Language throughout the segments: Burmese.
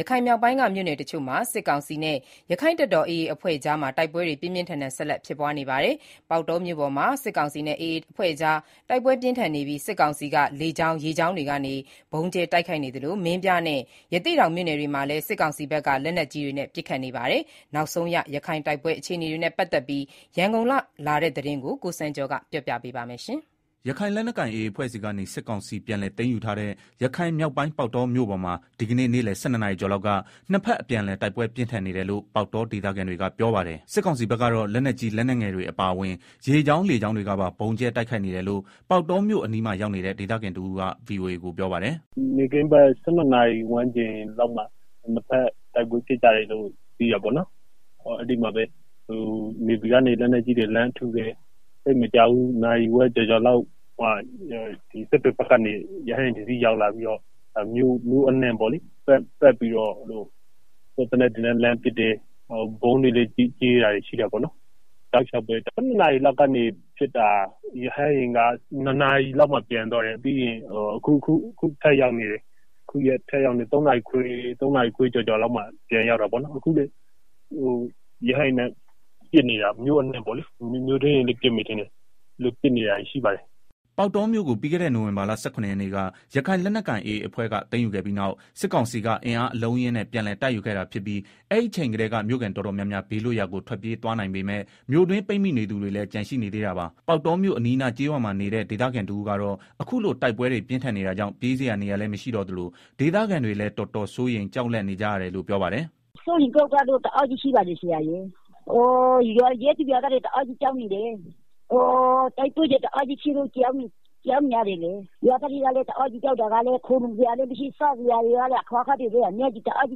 ရခိုင်မြောက်ပိုင်းက မြို့နယ်တချို့မှာ စစ်ကောင်စီနဲ့ ရခိုင်လက်နက်ကိုင် AA အဖွဲ့ကြား ဒီကနေ့လည်း တိုက်ပွဲတွေ ပြင်းပြင်းထန်ထန် ဆက်လက် ဖြစ်ပွါးနေပါတယ်။ ပေါက်တောမြို့ပေါ်မှာ စစ်ကောင်စီနဲ့ AA အဖွဲ့ကြား တိုက်ပွဲပြင်းထန်နေပြီး စစ်ကောင်စီက လေကြောင်း ရေကြောင်းတွေကနေ ဗုံးကြဲ တိုက်ခိုက်နေသလို မင်းပြားနဲ့ ရသေ့တောင်မြို့နယ်တွေမှာလည်း စစ်ကောင်စီဘက်က လက်နက်ကြီးတွေနဲ့ ပစ်ခတ်နေပါတယ်။ နောက်ဆုံးရ ရခိုင် တိုက်ပွဲ အခြေအနေနဲ့ ပတ်သက်ပြီး ရန်ကုန်ကလာတဲ့ သတင်းကို အခြေခံပြီး ကိုစံကျော်က တင်ပြပေးပါမယ်။ ရခိုင်လက်နက်ကိုင် AA အဖွဲ့ဆီကနေ စစ်ကောင်စီ ပြန်လည်သိမ်းယူထားတဲ့ ရခိုင်မြောက်ပိုင်း ပေါက်တောမြို့ပေါ်မှာ ဒီကနေ့ နေ့လည် ၁၂နာရီကျော်လောက်က နှစ်ဘက်အပြန်အလှန် တိုက်ပွဲပြင်းထန် နေတယ်လို့ ပေါက်တော ဒေသခံတွေကပြောပါတယ်။ စစ်ကောင်စီဘက်က တော့ လက်နက်ကြီး လက်နက်ငယ်တွေ အပါအဝင် ရေကြောင်း လေကြောင်းတွေကပါ ဗုံးကြဲ တိုက်ခိုက်နေတယ်လို့ ပေါက်တောမြို့အနီးမှာ ရောက်နေတဲ့ ဒေသခံတဦးက ဗွီအိုအေကို ပြောပါတယ်။ “ နေ့ခင်းဘက် ၁၂နာရီလောက်မှာ နှစ်ဘက် တိုက်ပွဲ ဖြစ်ကြတယ်လို့ အဲဒီမှာ နေဗီကနေ လက်နက်ကြီး တွေ လှမ်းပစ်တယ်၊ သိပ်မကြာဘူး နာရီဝက် ကျော်ကျော်လောက်မှာ စစ်တွေဘက်ကနေ ရဟတ်ယာဉ် တစီးရောက်လာပြီးတော့ မြို့အနှံ့ ပတ်ပြီးတော့ စစ်သေနတ်တွေနဲ့ လှမ်းပစ်တယ်၊ ဗုံးတွေလည်း ကြဲတာရှိတယ်၊ တောက်လျောက်ပဲ ၁၂ နာရီကနေ ပစ်တာ ။ ရဟတ်ယာဉ်က ၂နာရီလောက်မှာ ပြန်သွားတယ်။ အခုထပ်ရောက်နေပြန်ပြီ ၃နာရီခွဲ ကျော်ကျော်လောက်မှာ ပြန်ရောက်တာပေါ့နော်၊ အခုလည်း ရဟတ်ယဉ်နဲ့ ပစ်နေတာ မြို့အနှံ့ပေါ့လေ မြို့တွင်းတွေလည်းပစ်မယ်ထင်ပါတယ်။” ပေါက်တောမြို့ကို ပြီးခဲ့တဲ့ နိုဝင်ဘာလ ၁၇ ရက်နေ့က ရခိုင်လက်နက်ကိုင် AA အဖွဲ့က သိမ်းယူခဲ့ပြီးနောက် စစ်ကောင်စီက အင်အားအလုံးအရင်းနဲ့ ပြန်လည်တိုက်ယူခဲ့တာဖြစ်ပြီး အဲဒီအချိန်ကတည်းက မြို့ခံ တော်တော်များများ ဘေးလွတ်ရာကို ထွက်ပြေးသွားနိုင်ပေမယ့် မြို့တွင်း ပိတ်မိနေ သူတွေ လည်း ကျန်ရှိနေသေးတာပါ။ ပေါက်တောမြို့ အနီးအနား ကျေးရွာမှာနေတဲ့ ဒေသခံတဦးကတော့ အခုလို တိုက်ပွဲတွေ ပြင်းထန်နေ တာကြောင့် ပြေးစရာနေရာလည်း မရှိတော့သလို ဒေသခံတွေလည်း တော်တော်စိုးရိမ် ကြောက်လန့် နေကြ တယ်လို့ ပြောပါတယ်။ “ စိုးရိမ်ကြောင့်ကြမှုတွေကတော့ တအားရှိတယ်၊။ ရပ်သူ ရွာသားတွေလည်း တအားကြောက် နေကြတာ၊ တိုက်ပွဲတွေလည်း တအားဖြစ်တော့ ကြောက်ရတာပေါ့။ ရွာသားတွေမှာလည်း ခိုလုံစရာ လည်းမရှိ စားစရာလည်းမရှိ အခက်အခဲတအားဖြ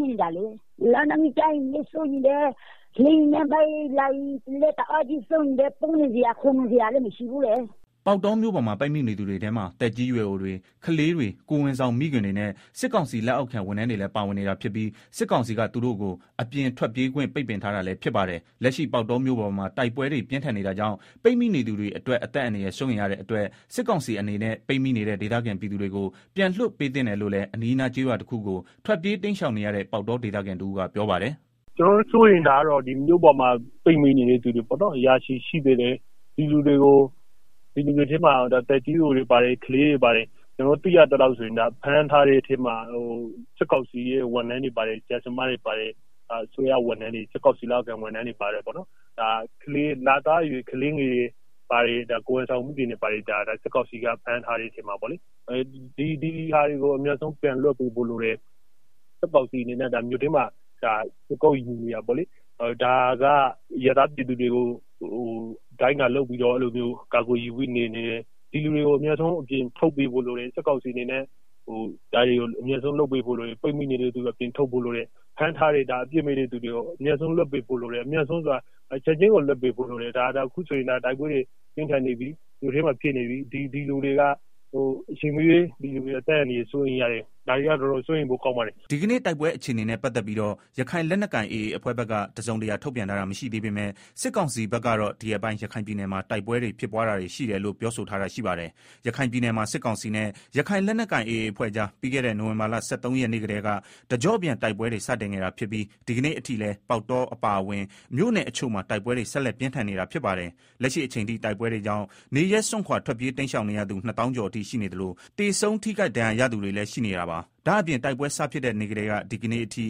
စ်နေတာလေ၊ လက်နက်ကြီး ကျမှာကိုလည်း စိုးရိမ်တယ် လေယာဉ်နဲ့ ပစ်မှာကိုလည်း စိုးရိမ်တယ်၊ ပုန်းစရာ ခိုလုံစရာ လည်းမရှိဘူးလေ။” ပေါက်တောမြို့ပေါ်မှာ ပိတ်မိနေတဲ့သူတွေထဲမှာ သက်ကြီးရွယ်အိုတွေ ကလေးတွေ ကိုယ်ဝန် ဆောင် မိခင်တွေနဲ့ စစ်ကောင်စီ လက်အောက်ခံ ဝန်ထမ်းတွေလည်း ပါဝင်နေတာဖြစ်ပီး စစ်ကောင်စီ က သူတို့ကို အပြင်ထွက်ပြေးခွင့်ပိတ်ထားတာ လည်းဖြစ်ပါတယ်။ လက်ရှိပေါက်တောမြို့ပေါ်မှာ တိုက်ပွဲ တွေ ပြင်းထန်နေတာကြောင့် ပိတ်မိနေသူအတွက် အသက်အန္တရာယ်စိုးရိမ်ရ တဲ့အတွက် စစ်ကောင်စီအနေနဲ့ပိတ်မိနေတဲ့ ဒေသခံပြည်သူတွေကို ပြန်လွတ်ပေးသင့် တယ်လို့ လည်း အနီးအနား ကျေးရွာတခုကို ထွက်ပြေးတိမ်းရှောင်နေရတဲ့ ပေါက်တောဒေသခံ တဦးက ပြောပါတယ်။ “ မြို့ပေါ်မှာ ပိတ်မိနေတဲ့ သူတွေ ရာချီရှိနေသေးတယ်၊ဒီလူတွေထဲမှာ သက်ကြီးရွယ်အိုတွေ ပါတယ်၊ ကလေးတွေ ပါတယ် ကျနော်တို့ သိရသလောက် ဖမ်းထားတဲ့ ထဲမှာ စစ်ကောင်စီ လက်အောက်ခံ ဝန်ထမ်းတွေပါတယ်၊ ဆရာ ဆရာမတွေပါတယ် အစိုးရဝန်ထမ်းတွေပါတယ်။ လသားအရွယ် ကလေးငယ်တွေပါတယ်၊ ကိုယ်ဝန်ဆောင်မိခင်တွေပါတယ်၊ ဒီဟာတွေကို အမြန်ဆုံးပြန်လွတ်ပေးဖို့ လိုတယ်၊ စစ်ကောင်စီက မြို့ထဲမှာ ခြေကုတ်ယူနေတာပေါ့လေ၊ ဒါကအရပ်သားပြည်သူတွေကို ဒိုင်းကာလုပ်ပြီးတော့ ကာကွယ်ယူပြီးနေနေတယ်၊ ဒီလူတွေကို အမြန်ဆုံးအပြင်ထုတ်ပေးဖို့ လိုတယ်။ ဖမ်းထားတဲ့သူတွေကို ချက်ချင်းလွတ်ပေးဖို့လိုတယ် အခုဆိုရင် မြို့ထဲမှာ တိုက်ပွဲတွေ ဖြစ်နေပြီ ဒီလူတွေ အချိန်မရွေး အသက်အန္တရာယ် အတွက် စိုးရိမ်ရ တယ်၊ ဒါတွေက တော်တော်စိုးရိမ်ရ ပါတယ်။” ဒီကနေ့ တိုက်ပွဲအခြေအနေနဲ့ ပတ်သတ်ပြီးတော့ ရခိုင်လက်နက်ကိုင်AAအဖွဲ့ဖက်က တစုံတရာထုတ်ပြန်ထားတာမရှိသေးပေမယ့် စစ်ကောင်စီဖက်ကတော့ ဒီရက်ပိုင်း ရခိုင်ပြည် နယ်မှာ တိုက်ပွဲဖြစ်ပွားတာတွေရှိတယ်လို့ ပြောဆိုထားတာရှိပါတယ်။ ရခိုင်ပြည်နယ်မှာ စစ်ကောင်စီနဲ့ ရခိုင်လက်နက်ကိုင် AA အဖွဲ့ကြား ပြီးခဲ့တဲ့ နိုင်ဝင်ဘာလ ၁၃ရက် နေ့ကတည်းက တကြောပြန်တိုက်ပွဲတွေ စတင်ခဲ့တာဖြစ်ပြီး ဒီကနေ့ အထိလည်း ပေါက်တော အပါအဝင် မြို့နယ်တချို့မှာ တိုက်ပွဲတွေ ဆက်လက်ပြင်းထန် နေတာဖြစ်ပါတယ်။ လက်ရှိအချိန်ထိ တိုက်ပွဲတွေကြောင့် နေရပ်စွန့်ခွာထွက်ပြေးတိမ်းရှောင်နေရသူ ၂ သောင်း ကျော်အထိ ရှိနေသလို သေဆုံး ထိခိုက်ဒဏ်ရာရသူတွေလည်းရှိနေတာပါ။ ဒါ့အပြင် တိုက်ပွဲစဖြစ်တဲ့ နေ့ကတည်းက ဒီကနေ့အထိ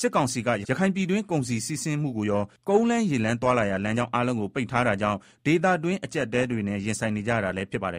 စစ်ကောင်စီက ရခိုင်ပြည်တွင်း ကုန်စည်စီးဆင်းမှုကိုရော ကုန်းလမ်း ရေလမ်း သွားလာရာ လမ်းကြောင်းအားလုံးကို ပိတ်ထားတာကြောင့် ဒေသခံတွင်း အကျပ်အတည်းတွေနဲ့ ရင်ဆိုင်နေကြရတာလည်းဖြစ်ပါတယ်